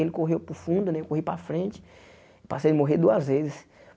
Ele correu para o fundo né, eu corri para a frente, passei de morrer duas vezes.